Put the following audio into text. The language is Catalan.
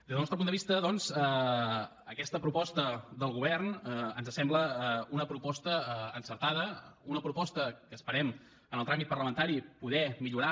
des del nostre punt de vista doncs aquesta proposta del govern ens sembla una proposta encertada una proposta que esperem en el tràmit parlamentari poder millorar